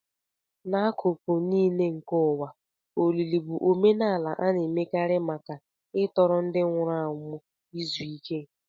N'akụkụ nile nke ụwa, olili bụ omenala a na-emekarị maka ịtọrọ ndị nwụrụ anwụ izu ike.